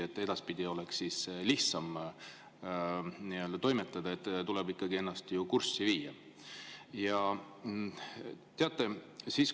Et edaspidi oleks lihtsam toimetada, tuleb ennast ju ikkagi kurssi viia.